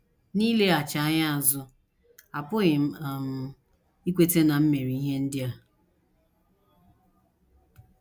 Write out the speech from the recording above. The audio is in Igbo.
N’ileghachi anya azụ, apụghị m um ikweta na m mere ihe ndị a. ”